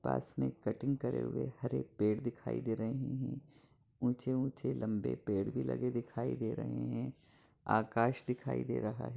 पास में कटिंग करे हुए हरे पेड़ दिखाई दे रहे हैं ऊंचे-ऊंचे लम्बे पेड़ भी लगे दिखाई दे रहे है आकाश दिखाई दे रहा है।